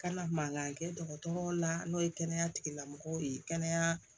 Kana mankan kɛ dɔgɔtɔrɔ la n'o ye kɛnɛya tigilamɔgɔw ye kɛnɛya